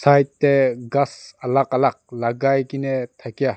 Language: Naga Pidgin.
side teh ghass alag alag lagai ke na thakia--